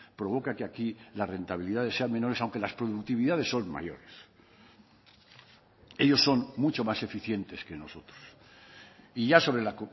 provoca que aquí las rentabilidades sean menores aunque las productividades son mayores ellos son mucho más eficientes que nosotros y ya sobre la